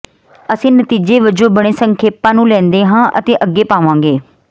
ਅਸੀਂ ਨਤੀਜੇ ਵਜੋਂ ਬਣੇ ਸੰਖੇਪਾਂ ਨੂੰ ਲੈਂਦੇ ਹਾਂ ਅਤੇ ਅੱਗੇ ਪਾਵਾਂਗੇ